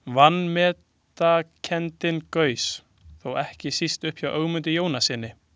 Vanmetakenndin gaus þó ekki síst upp hjá Ögmundi Jónassyni.